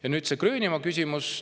Ja nüüd Gröönimaa küsimus.